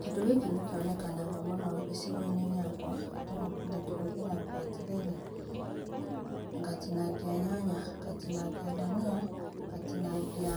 Kĩndũ gĩkĩ nĩ kĩonekaga mũno gĩcigo inĩ gĩakwa tũ ndĩkĩhũthagĩra atĩrĩrĩ, ngatinagĩa nyanya ngatinagĩa danĩa ngatinagĩa